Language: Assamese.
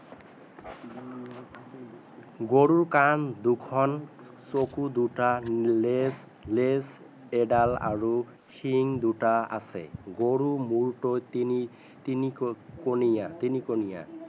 গৰু কাণ দুখন চকু দুটা নেজ নেজ এদাল আৰু শিং দুটা আছে গৰু মূৰটো তিনি তিনি কনিয়া তিনি কনিয়া